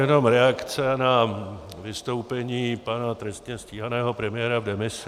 Jenom reakce na vystoupení pana trestně stíhaného premiéra v demisi.